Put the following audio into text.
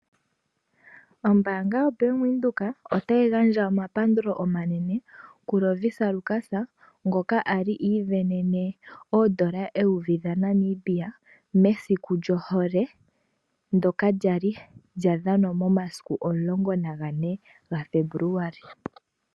Ombanga yo Bank Windhoek otayi gandja omapandulo omanene ku Lovisa Lukas konga ali asindana N$ 1000 mesiku lyo hole ndoka lyali lyadhanwa momasiku 14 Februali.